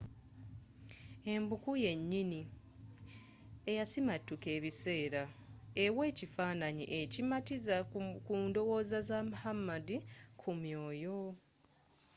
empuku yennyini eyasimattuka ebiseera ewa ekifaananyi ekimatizza ku ndowooza za muhammad ku mwoyo